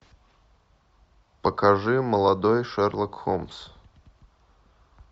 покажи молодой шерлок холмс